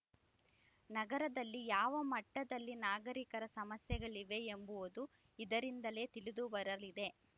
ನಗರದಲ್ಲಿ ಯಾವ ಮಟ್ಟದಲ್ಲಿ ನಾಗರಿಕರ ಸಮಸ್ಯೆಗಳಿವೆ ಎಂಬುವುದು ಇದರಿಂದಲೇ ತಿಳಿದು ಬರಲಿದೆ